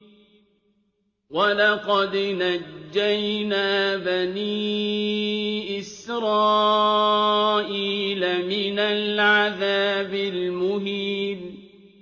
وَلَقَدْ نَجَّيْنَا بَنِي إِسْرَائِيلَ مِنَ الْعَذَابِ الْمُهِينِ